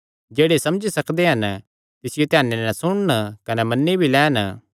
जेह्ड़े समझी सकदे हन तिसियो ध्याने नैं सुणन कने मन्नी भी लैन